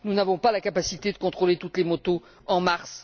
Nous n'avons pas la capacité de contrôler toutes les motos en mars.